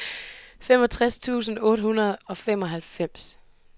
femoghalvtreds tusind otte hundrede og femoghalvfems